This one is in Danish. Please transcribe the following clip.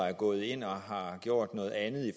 er gået ind og har gjort noget andet